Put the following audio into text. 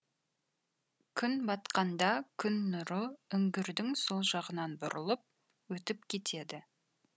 күн батқанда күн нұры үңгірдің сол жағынан бұрылып өтіп кетеді